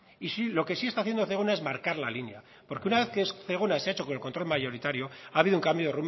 y sí lo que sí está haciendo zegona es marcar la línea porque una vez que zegona se ha hecho con el control mayoritario ha habido un cambio